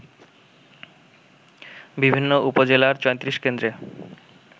বিভিন্ন উপজেলার ৩৪ কেন্দ্রে